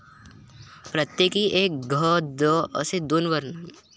प्रत्येकी एक घ, द, असे दोन वर्ण.